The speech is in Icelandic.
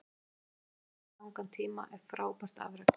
Að stýra landsliðinu í svo langan tíma er frábært afrek.